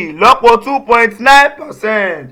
ìlọ́po 2.9 percent.